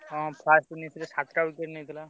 ହଁ first innings ରେ ସାତ ଟା wicket ନେଇଥିଲା।